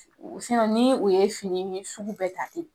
ni o ye fini min sugu bɛɛ ta ten